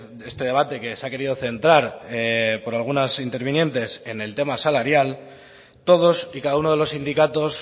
de este debate que se ha querido centrar por algunas intervinientes en el tema salarial todos y cada uno de los sindicatos